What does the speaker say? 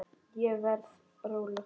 Ég verð róleg.